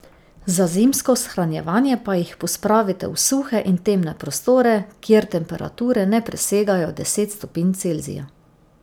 Za zimsko shranjevanje pa jih pospravite v suhe in temne prostore, kjer temperature ne presegajo deset stopinj Celzija.